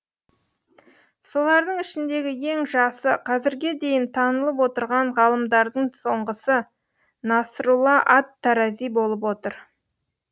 солардың ішіндегі ең жасы қазірге дейін танылып отырған ғалымдардың сонғысы насрулла ат тарази болып отыр